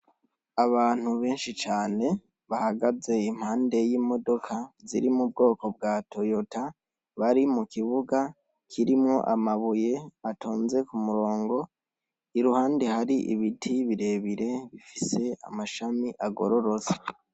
Abantu benshi cane bahagaze impande y'imodoka ziri mu bwoko bwa toyota bari mu kibuga kirimo amabuye atonze ku murongo iruhande hari ibiti birebire bifise amashami agororotse.